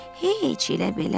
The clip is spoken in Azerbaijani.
Heç elə belə.